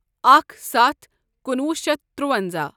اکھ ستھ کُنوُہ شیتھ ترُونٛزاہ